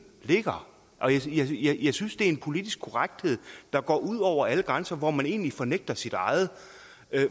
ligger jeg synes det er en politisk korrekthed der går ud over alle grænser og hvor man egentlig fornægter sit eget